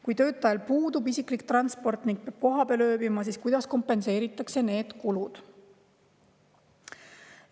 Kui töötajal puudub isiklik transport ning peab kohapeal ööbima, siis kuidas kompenseeritakse need kulud?